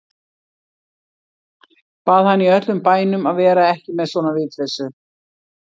Bað hann í öllum bænum að vera ekki með svona vitleysu.